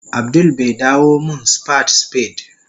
Abdul bai dawo min spad spade